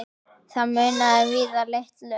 Það munaði víða litlu.